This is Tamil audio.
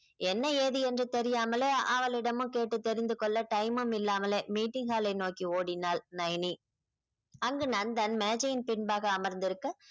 என்ன ஏது என்று தெரியாமலே அவளிடமும் கேட்டு தெரிந்து கொள்ள time மும் இல்லாமலே meeting hall ஐ நோக்கி ஓடினாள் நயனி அங்கு நந்தன் மேஜையின் பின்பாக அமர்ந்திருக்க